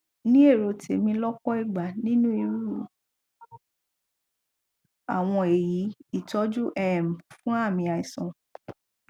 ní èrò tèmi lọpọ ìgbà nínú irú àwọn èyí ìtọjú um fún àmì àìsàn